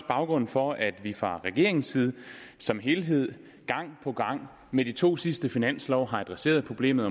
baggrunden for at vi fra regeringens side som helhed gang på gang med de to sidste finanslove har adresseret problemet